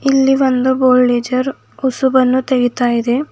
ಇಲ್ಲಿ ಒಂದು ಬೋಲ್ಡೆಜರ್ ಹುಸುಬನ್ನು ತೆಗಿತಾ ಇದೆ.